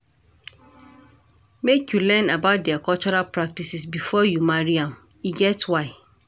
Make you learn about their cultural practices before you marry am, e get why.